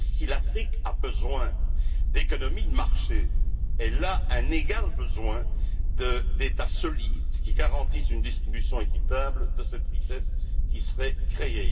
Mais si l'Afrique a besoin d'économies de marché, elle a un égal besoin d'États solides qui garantissent une répartition équitable de cette richesse qui serait créée.